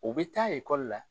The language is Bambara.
U bi taa la.